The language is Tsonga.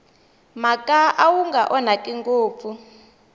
mhaka wu nga onhaki ngopfu